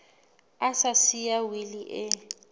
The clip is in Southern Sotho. a sa siya wili e